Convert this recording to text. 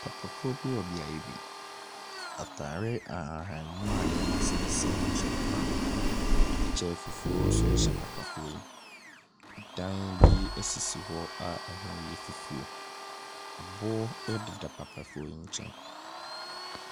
Papafoɔ bi wɔ beae bi. Ataare ahahanmono a nneɛma sensɛn mu hyɛ papa no. Ɛkyɛ fufuo nso hyɛ papafoɔ yi. Ɛdan bi esisi hɔ a ɛho yɛ fufuo. Aboɔ ɛdeda papafoɔ yi nkyɛn.